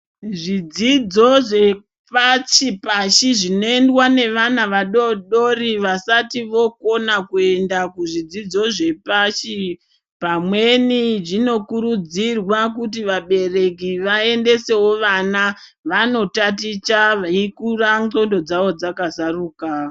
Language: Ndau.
Zvidzidzo zvepashi pashi zvinoendwa nevana vadodori vasati vokona kuenda kuzvidzidzo zvepashi pamweni zvinokurudzirwa kuti vabereki vaendesewo vana vandotaticha veikura nxondo dzavo dzakazaruka.